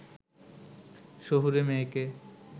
শহুরে মেয়েকে